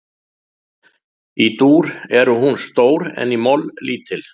Í dúr er hún stór en í moll lítil.